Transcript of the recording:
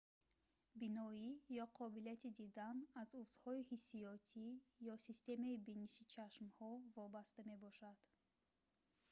биноӣ ё қобилияти дидан аз узвҳои ҳиссиётӣ ё системаи биниши чашмҳо вобаста мебошад